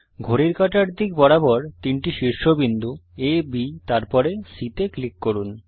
ঘড়ির কাঁটার দিক বরাবর তিনটি শীর্ষ বিন্দু আ B তারপরে C তে ক্লিক করুন